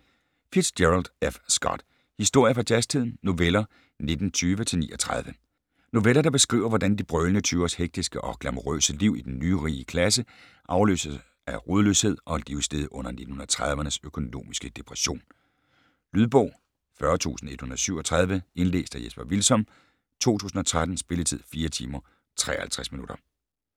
Fitzgerald, F. Scott: Historier fra jazztiden: noveller 1920-39 Noveller der beskriver, hvordan de brølende tyveres hektiske og glamourøse liv i den nyrige klasse afløses af rodløshed og livslede under 1930'ernes økonomiske depression. Lydbog 40137 Indlæst af Jesper Hvilsom, 2013. Spilletid: 4 timer, 53 minutter.